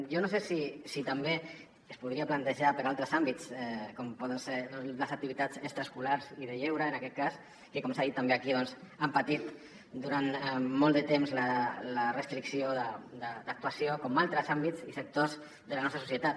jo no sé si també es podria plantejar per a altres àmbits com poden ser les activitats extraescolars i de lleure en aquest cas que com s’ha dit també aquí doncs han patit durant molt de temps la restricció d’actuació com altres àmbits i sectors de la nostra societat